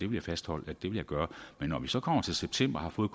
vil fastholde at det vil jeg gøre men når vi så kommer til september og har fået